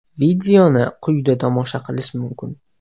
Videoni quyida tomosha qilish mumkin.